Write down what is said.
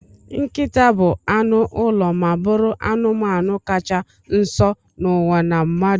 Nkịta bu anụ ụlọ ma bụrụ anụmanụ kacha nso n'ụwa na mmadụ